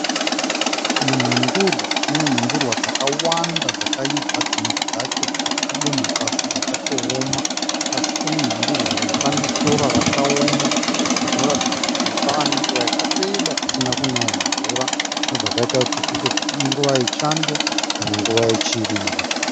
Munhundurwa unenhundurwa dzakawanda dzakaibva dzimwe dzacho dzakadonha pasi dzakatowoma. Pasi pemunhundurwa uyu pane sora rakaoma zvinoratidza kuti pava nenguva yakareba kusina kunaya mvura. Zvinobva zvaita kuti tifunge kuti inguva yechando kana nguva yechirimo.